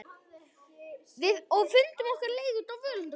Og fundum okkar leið út úr völundarhúsinu.